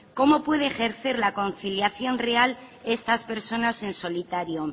cómo pueden ejercer la conciliación real esas personas en solitario